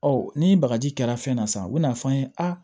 Ɔ ni bagaji kɛra fɛn na san u bɛn'a f'an ye aa